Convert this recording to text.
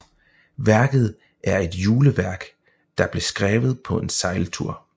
Værket er et juleværk der blev skrevet på en sejltur